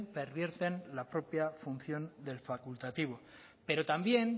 pervierten la propia función del facultativo pero también